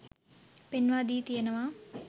පෙන්වා දී තියෙනවා.